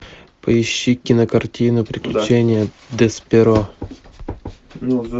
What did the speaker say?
поищи кинокартину приключения десперо